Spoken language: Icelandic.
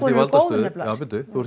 í valdastöðu þú ert